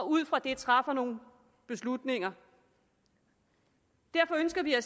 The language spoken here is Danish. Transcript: ud fra det træffer nogle beslutninger derfor ønsker vi at